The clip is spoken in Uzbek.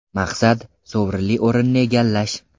Maqsad – sovrinli o‘rinni egallash.